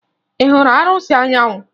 Ị hụrụ arụsị Anyanwụ?